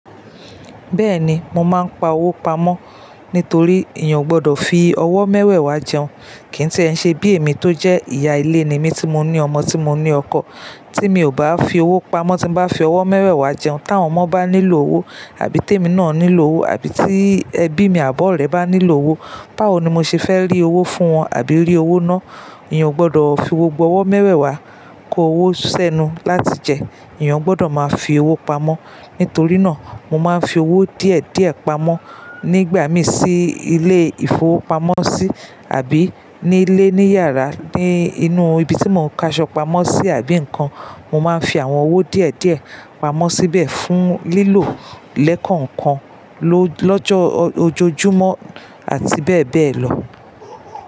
Bẹ́ẹ̀ni, mo máa ń pa owó pamọ́ nítorí èèyàn ò gbọdọ̀ fi ọwọ́ mẹ́wẹ̀ẹ̀ wá jẹun. Kí ì tí ẹ̀ ń ṣe bí èmi tó jẹ́ ìyá ilé ni mí tí mo ní ọmọ tí mo ní ọkọ, tí mi ò bá fi owó pamọ́ tí bá fi ọwọ́ mẹ́wẹ̀ẹ̀ wá jẹun, tí àwọn ọmọ bá nílò owó àbí tèmi náà nílò owó àbí tí ẹbí mi àbọ̀ọ̀rẹ́ bá nílò owó, báwo ni mo ṣe fẹ́ rí owó fún wọn àbí rí owó náà? Èèyàn ò gbọdọ̀ fi gbogbo ọwọ́ mẹ́wẹ̀ẹ̀ wá, kó owó sẹ́nu láti jẹ. Èèyàn gbọdọ̀ máa fi owó pamọ́. Nítorí náà, mo máa ń fi owó díẹ̀ díẹ̀ pamọ́ nígbà mí sí ilé-ìfowópamọ́sí àbí ní ilé ní yàrá, ní inú ibi tí mò ń káṣọ́pámọ́sí àbí nǹkan, mo máa ń fi àwọn owó díẹ̀ díẹ̀ pamọ́ síbẹ̀ fún lílò lẹ́ẹ̀kan kan lọ́jọ́ ojojúmọ́ àti bẹ́ẹ̀ bẹ́ẹ̀ lọ.